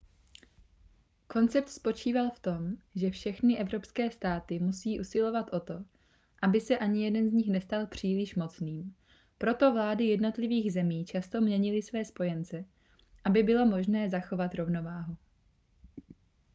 koncept spočíval v tom že všechny evropské státy musí usilovat o to aby se ani jeden z nich nestal příliš mocným proto vlády jednotlivých zemí často měnily své spojence aby bylo možné zachovat rovnováhu